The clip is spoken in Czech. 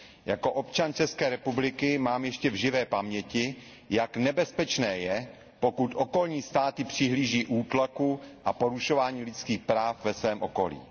Jako občan České republiky mám ještě v živé paměti, jak nebezpečné je, pokud okolní státy přihlíží útlaku a porušování lidských práv ve svém okolí.